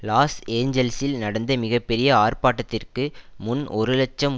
loss ஏஞ்சல்சில் நடந்த மிக பெரிய ஆர்ப்பாட்டத்திற்கு முன் ஒரு இலட்சம்